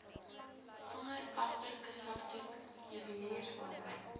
vingerafdrukke sakdoek juweliersware